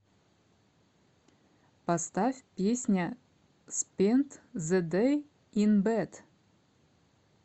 поставь песня спент зэ дэй ин бэд